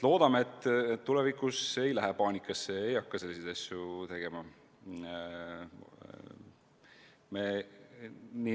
Loodame, et tulevikus ei minda enam paanikasse ega hakata selliseid asju tegema.